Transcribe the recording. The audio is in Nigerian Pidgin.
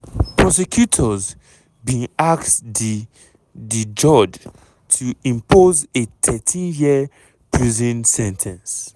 prosecutors bin ask di di judge to impose a 13-year prison sen ten ce.